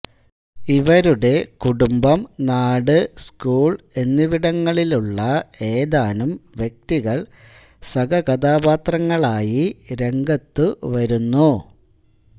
ഇവരുടെ കുടുംബം നാട് സ്കൂൾ എന്നിവിടങ്ങളിലുള്ള ഏതാനും വ്യക്തികൾ സഹകഥാപാത്രങ്ങളായി രംഗത്തു വരുന്നു